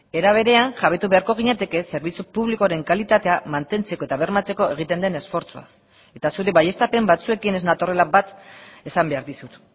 era berean jabetu beharko ginateke zerbitzu publikoaren kalitatea mantentzeko eta bermatzeko egiten den esfortzuaz eta zure baieztapen batzuekin ez natorrela bat esan behar dizut